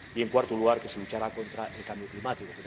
y, en cuarto lugar, que se luche contra el cambio climático.